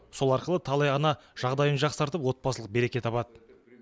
сол арқылы талай ана жағдайын жақсартып отбасылық береке табады